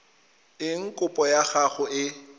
eng kopo ya gago e